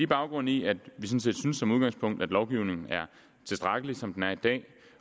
baggrund i at vi som udgangspunkt at lovgivningen er tilstrækkelig som den er i dag